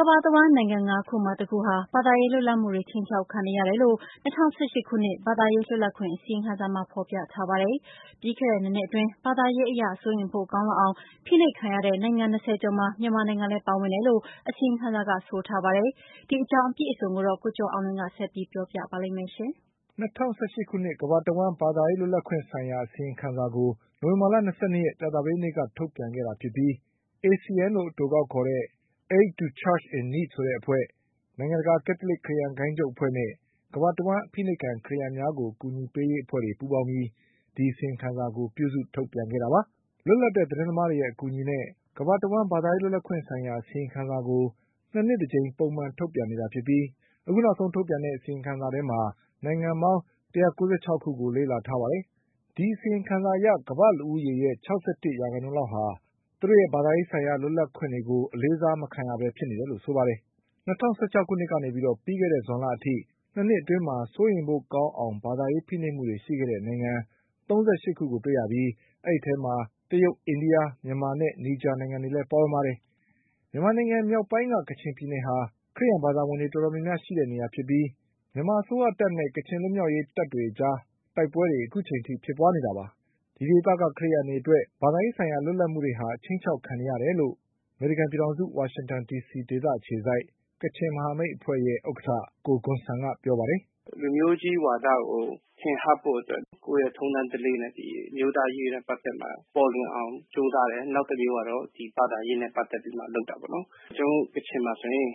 ကမ္ဘာတဝှမ်း နိုင်ငံငါးခုမှာ တခုနှုန်း ဘာသာရေးလွတ်လပ်မှုတွေ ခြိမ်းခြောက်ခံနေရတယ်လို့ ၂၀၁၈ ခုနှစ် ဘာသာရေး လွတ်လပ်ခွင့်အစီရင်ခံစာမှာ ဖေါ်ပြထားပါတယ်။ ပြီးခဲ့တဲ့၂ နှစ်အတွင်း ဘာသာရေးအရ စိုးရိမ်ဖို့ ကောင်းလောက်အောင် ဖိနှိပ်ခံရတဲ့နိုင်ငံ၂၁ နိုင်ငံထဲမှာ မြန်မာနိုင်ငံလည်း ပါဝင်တယ်လို့ အစီရင်ခံစာက ဆိုပါတယ်။ ဒီအကြောင်း ကိုကျော်အောင်လွင် က တင်ပြပေးထားပါတယ်။ ၂၀၁၈ ခုနှစ် ဘာသာရေးလွတ်လပ်ခွင့် အစီရင်ခံစာကို နိုဝင်ဘာလ ၂၂ ရက် ကြာသပတေးနေ့က ထုတ်ပြန်ခဲ့ တာ ဖြစ်ပြီး ACN လို့အတိုကောက်ခေါ်တဲ့ Aid to the Church in Need အဖွဲ့၊ နိုင်ငံ တကာ ကက်သလစ် ခရစ်ယာန်ဂိုဏ်းချုပ်အဖွဲ့နဲ့ ကမ္ဘာတဝှမ်းအဖိနှိပ်ခံ ခရစ်ယာန်များကို အကူအညီပေးရေး အဖွဲ့တွေ ပူးပေါင်းပြီး ဒီအစီရင်ခံစာကို ပြုစုထုတ်ပြန်တာပါ။ လွတ်လပ်တဲ့ သတင်းသမားတွေရဲအကူအညီနဲ့ ကမ္ဘာတဝှမ်း ဘာသာရေး လွတ်လပ်ခွင့်ဆိုင်ရာအစီရင်ခံစာကို ၂ နှစ် တကြိမ်ပုံမှန်ထုတ် ပြန်နေတာဖြစ်ပြီး အခုနောက်ဆုံး ထုတ်ပြန်တဲ့ အစီရင်ခံစာမှာ နိုင်ငံပေါင်း ၁၉၆ ခုကိုလေ့လာထားပါတယ်။ ဒီအစီရင်ခံစာအရ ကမ္ဘာ့လူဦးရေရဲ့ ၆၁ ရာခိုင်နှုန်းလောက်ရဲ့ ဘာသာရေးလွတ်လပ်ခွင့်တွေဟာ လေးစားခြင်း မခံရဘဲ ဖြစ်နေတယ်လို့ဆိုပါ တယ်။ ၂၀၁၆ ကနေ ပြီးခဲ့တဲ့ဇွန်လအထိ ၂ နှစ်အတွင်း စိုးရိမ်ဖို့ကောင်းအောင် ဘာသာရေးဖိနှိပ်မှုတွေရှိတဲ့ နိုင်ငံ ၃၈ ခုကိုတွေ့ရပြီး အဲဒီအထဲမှာ တရုတ်၊ အိန္ဒိယ၊ မြန်မာနဲ့ နီဂျာနိုင်ငံတွေလည်း ပါဝင်ပါတယ်။ မြန်မာနိုင်ငံမြောက်ပိုင်း က ကချင်ပြည်နယ်ဟာ ခရစ်ယန်ဘာသာဝင်တွေ တော်တော်များများ ရှိတဲ့နေရာဖြစ်ပြီး မြန်မာအစိုးရတပ်နဲ့ ကချင်လွတ်မြောက်ရေးတပ်တွေအကြား တိုက်ပွဲတွေဖြစ်ပွါးနေ တာပါ။ ဒီဒေသက ခရစ်ယန်တွေ အတွက် ဘာသာရေးဆိုင်ရာလွတ်လပ်မှု တွေဟာ ခြိမ်းခြောက် ခံနေရတယ်လို့ အမေရိကန်ပြည်ထောင်စု ဝါရှင်တန်ဒီစီဒေသအခြေစိုက် ကချင်မဟာမိတ်အဖွဲ့ရဲ့ ဥက္ကဋ္ဌ ကိုဂွန်ဆန်က ပြောပါတယ်။ ထင်ဟပ်ဖို့အတွက် ကိုယ့်ရဲ့ထုံးတမ်းဓလေ့နဲ့ အမျိုးသားရေးနဲ့ပတ်သက်လာရင် ပေါ်လွင်အောင် ကြိုးစားတယ်။ နောက်တမျိုးကတော့ ဘာသာရေးနဲ့ပတ်သက်ပြီးမှလုပ်တာပေါ့နော်။ ကျနော်တို့ကချင်မှာဆိုရင်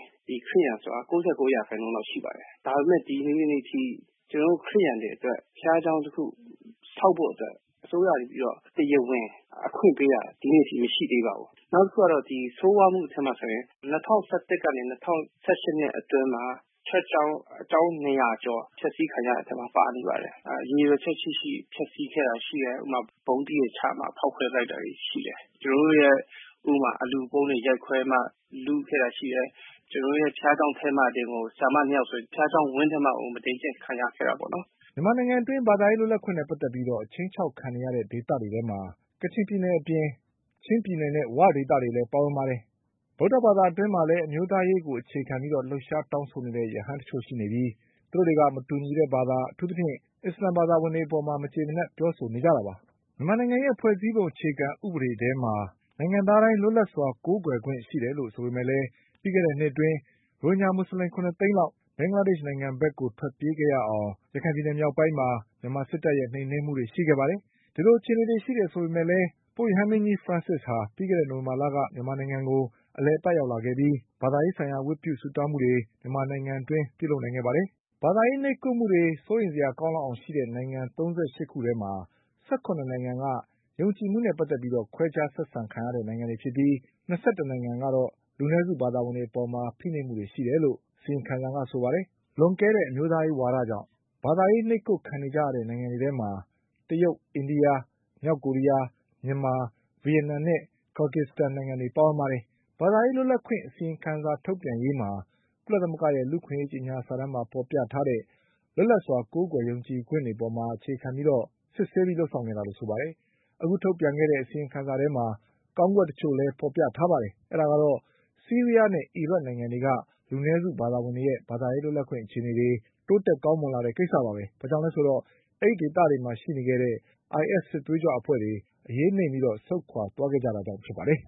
ခရစ်ယာန်ဆိုတာ ၉၉ % လောက်ရှိပါတယ်။ ဒါပေမယ့် ဒီနေ့အထိ ကျနော်တို့ ခရစ်ယာန်တွေအတွက် ဘုရားကျောင်းတခုဆောက်ဖို့အတွက် အစိုးရကနေပြီးတော့ တရားဝင် အခွင့်ပေးတာ ဒီနေ့အထိ မရှိသေးပါဘူး။ နောက်တခုကတော့ ဆိုးဝါးမှုအထဲမှာဆိုလို့ရှိရင် ၂၀၁၁ ကနေ ၂၀၁၈ အတွင်းမှာ ချာ့ကျောင်း ၂၀၀ ကျော် ဖျက်ဆီးခံရတဲ့အထဲမှာ ပါနေပါတယ်။ ရည်ရွယ်ချက်ရှိရှိ ဖျက်ဆီးခဲ့တာရှိတယ်။ ဥပမာ-ဥပမာ ဗုံးသီးတွေချပြီးတော့မှ ဖောက်ခွဲ ပစ်လိုက် တာတွေရှိတယ်။ ကျနော်တို့ရဲ့ အလှူခံပုံးတွေရိုက်ခွဲပြီးတော့မှ လုခဲ့တာရှိတယ်။ ကျနော်တို့ရဲ့ ဘုရားကျောင်းထဲမှာတင်ကို ဆရာမနှစ်ယောက်ဆိုရင် ဘုရားကျောင်းဝင်းထဲမှာကို မုဒိန်းကျင့် မြန်မာနိုင်ငံအတွင်း ဘာသာရေးလွတ်လပ်ခွင့်နဲ့ပတ်သက်ပြီးအချိန်းခြောက်ခံနေရတဲ့ဒေသတွေထဲမှာ ကချင်ပြည်နယ်၊ ချင်းပြည်နယ်နဲ့ ဝဒေသတွေလည်းပါဝင်ပါတယ်။ ဗုဒ္ဓဘာအတွင်းမှာလည်း အမျိုးသားရေးကို အခြေခံပြီး လှုပ်ရှားတောင်းဆိုနေတဲ့ ရဟန်းတချို့ရှိပြီး မတူညီတဲ့ဘာသာ၊ အထူးသဖြင့် အစ္စလမ်ဘာသာဝင် တွေ အပေါ် မကျေမနပ်ပြောဆိုနေတာတွေလည်း ရှိပါတယ်။ မြန်မာနိုင်ငံရဲ့ဖွဲ့စည်းပုံအခြေခံဥပဒေထဲမှာ နိုင်ငံသားတိုင်းလွတ်လပ်စွာကိုးကွယ်ခွင့်ရှိတယ်လို့ ဆိုပေ မယ့််လည်း ပြီးခဲ့တဲ့နှစ်အတွင်း ရိုဟင်ဂျာမူဆလင် ၇ သိန်း လောက် ဘင်္ဂလားဒေ့ချ်နိုင်ငံဘက် ထွက်ပြေးခဲ့ရအောင် ရခိုင် ပြည်နယ် မြောက်ပိုင်းမှာ မြန်မာစစ်တပ်ရဲ့ နှိမ်နင်းမှုတွေ ရှိခဲ့ပါတယ်။ ဒီလိုအခြေအနေတွေ ရှိတယ် ဆိုပေမယ့်လည်း ပုတ်ရဟန်းမင်းကြီး ဖရန့်စစ်ဟာ ပြီးခဲ့တဲ့နှစ် နိုဝင်ဘာလက မြန်မာနိုင်ငံကိုအလည်အပတ် ရောက်လာခဲ့ပြီး ဘာသာရေးဆိုင်ရာဝတ်ပြုဆု တောင်းမှုတွေ မြန်မာနိုင်ငံအတွင်းလုပ်နိုင်ခဲ့ပါတယ်။ ဘာသာရေးနှိပ်ကွပ်မှုတွေ စိုးရိမ်စရာကောင်းအောင်ရှိခဲ့တဲ့နိုင်ငံ ၃၈ ခုထဲမှာ ၁၇ နိုင်ငံက ယုံကြည်မှုနဲ့ ပတ်သက်ပြီး ခွဲခြားဆက် ဆံခံရတဲ့နိုင်ငံတွေဖြစ်ပြီး ၂၁ နိုင်ငံက လူနည်းစုဘာသာဝင်တွေအပေါ် ဖိနှိပ်မှုတွေ ရှိခဲ့တယ်လို့ အစီရင်ခံစာကဆိုပါတယ်။ လွန်ကဲတဲ့အမျိုးသားရေးဝါဒကြောင့် ဘာသာရေး နှိပ်ကွပ်ခံနေကြရတဲ့ နိုင်ငံတွေထဲမှာ တရုတ်၊ အိန္ဒိယ၊ မြောက်ကိုရီးယား၊ မြန်မာ၊ ဗီယက်နမ်နဲ့ ကာဂီစတန်တွေပါဝင်ပါတယ်။ ဘာသာရေးလွတ်လပ်ခွင့်အစီရင်ခံစာထုတ်ပြန်ရေးမှာ ကုလသမဂ္ဂရဲ့ လူအခွင့်အရေးကြေညာ စာတမ်းမှာ ဖေါ်ပြထားတဲ့ လွတ်လပ်စွာကိုးကွယ်ယုံကြည်ခွင့်တွေအပေါ်မှာ အခြေခံပြီးတော့ စစ်ဆေးပြီး လုပ်ဆောင် ခဲ့တာလို့ ဆိုပါတယ်။ အခုထုတ်ပြန်ခဲ့တဲ့အစီရင်ခံစာထဲမှာ ကောင်းကွက် တချို့လည်း ဖေါ်ပြထားပါတယ်။ အဲဒါကတော့ ဆီးရီးယားနဲ့ အီရတ်နိုင်ငံတွေက လူနည်းစုဘာသာ ဝင်တွေရဲ့ ဘာသာရေးလွတ်လပ်ခွင့် အခြေအနေတွေ တိုး တက်ကောင်းမွန်လာတဲ့ကိစ္စပါပဲ။ ဘာကြောင့်လဲဆိုတော့ အဲဒီဒေသတွေမှာရှိတဲ့ IS စစ်သွေးကြွတွေ အရေးနိမ့်ပြီး ဆုတ်ခွါ သွားခဲ့တာကြောင့်ဖြစ်ပါတယ်။